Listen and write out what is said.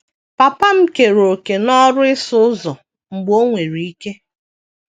Papa m keere òkè n’ọrụ ịsụ ụzọ mgbe o nwere ike.